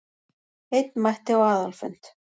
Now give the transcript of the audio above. Einn mætti á aðalfund